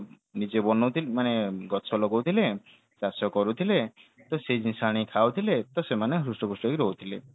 ନିଜେ ବନଉଥିଲେ ମାନେ ଗଛ ଲଗଉଥିଲେ ଚାଷ କରୁଥିଲେ ତ ସେ ଜିନିଷ ଆଣିକି ଖାଉଥିଲେ ତ ସେମାନେ ହୃଷ୍ଟପୃଷ୍ଟ ହେଇକି ରହୁଥିଲେ